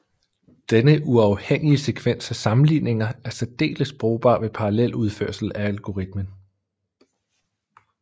Denne uafhængige sekvens af sammenligninger er særdeles brugbar ved parallel udførsel af algoritmen